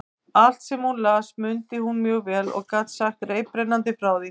Allt, sem hún las, mundi hún mjög vel og gat sagt reiprennandi frá því.